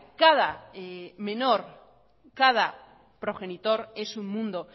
cada menor cada progenitor es un mundo